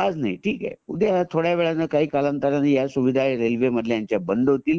आता ठीक आहे थोड्या वेळाने काही काळानंतर ह्या सुविधा रेल्वे मधल्या ह्यांचा बंद होतील